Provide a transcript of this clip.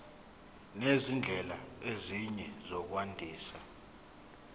nezindlela ezinye zokwandisa